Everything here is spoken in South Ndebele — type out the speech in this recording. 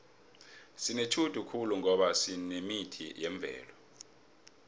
sinetjhudu khulu ngoba sinemithi yemvelo